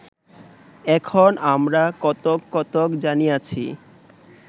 এখন আমরা কতক কতক জানিয়াছি